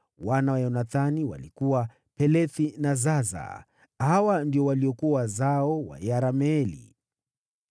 Wana wa Yonathani walikuwa: Pelethi na Zaza. Hawa ndio waliokuwa wazao wa Yerameeli.